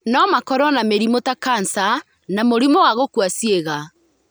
No makorũo na mĩrimũ ta kanca na mũrimũ wa gũkua ciĩga.